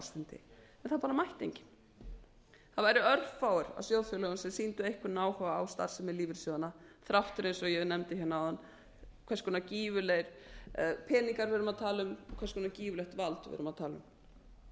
ársfundi en það bara mætti enginn það væru örfáir af sjóðfélögum sem sýndu einhvern áhuga á starfsemi lífeyrissjóðanna þrátt fyrir eins og ég nefndi hérna áðan hvers konar gífurlega peninga við erum að tala um hvers konar gífurlegt vald við erum að tala um